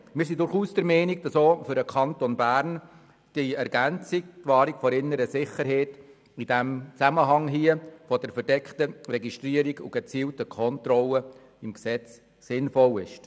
Wir sind durchaus der Meinung, dass die Ergänzung «Wahrung der inneren Sicherheit» auch für den Kanton Bern im Zusammenhang mit der verdeckten Registrierung und der gezielten Kontrolle im Gesetz sinnvoll ist.